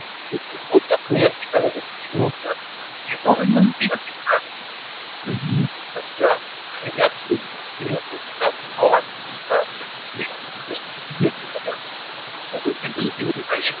ইয়াত দেখিছে তিনিৰ ওপৰত কেইটা আছে power দুটা আছে। গতিকে আমি LCM ও লিখিব পাৰে